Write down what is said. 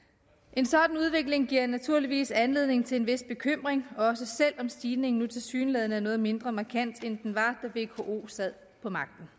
en sådan udvikling giver naturligvis anledning til en vis bekymring også selv om stigningen nu tilsyneladende er noget mindre markant end den var da vko sad på magten